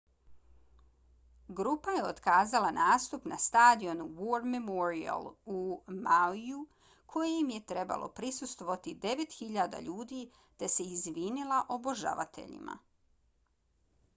grupa je otkazala nastup na stadionu war memorial u mauiju kojem je trebalo prisustvovati 9.000 ljudi te se izvinila obožavateljima